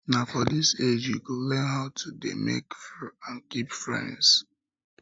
na for dis age you go learn how to dey make and keep friends